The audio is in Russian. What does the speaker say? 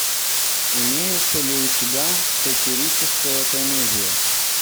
имеется ли у тебя сатирическая комедия